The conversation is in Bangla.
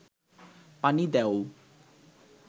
পানি দেও